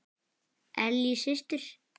Ellý systir.